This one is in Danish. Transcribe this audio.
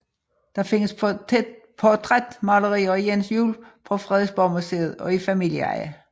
Der findes portrætmalerier af Jens Juel på Frederiksborgmuseet og i familieeje